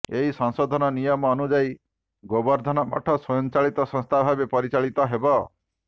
ଏହି ସଂଶୋଧନ ନିୟମ ଅନୁଯାୟୀ ଗୋବର୍ଦ୍ଧନ ମଠ ସ୍ୱୟଂଚାଳିତ ସଂସ୍ଥା ଭାବେ ପରିଚାଳିତ ହେବ